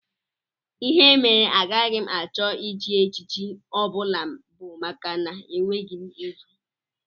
Ihe mere agaghị m achọ ịchị echichi ọ bụla bụ maka na enweghị m ego